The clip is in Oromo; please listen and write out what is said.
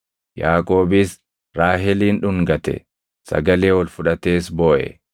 Yaaqoobis Raaheliin dhungate; sagalee ol fudhatees booʼe.